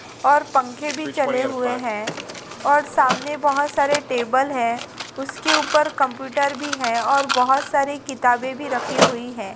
और पंखे भी चले हुए हैं और सामने बहुत सारे टेबल हैं उसके ऊपर कंप्यूटर भी है और बहुत सारी किताबें भी रखी हुई हैं।